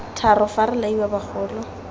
tharo fa re laiwa bagolo